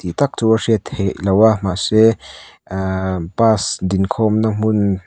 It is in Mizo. tak chu a hriat theihloh a mahse ehh bus din khawmna hmun--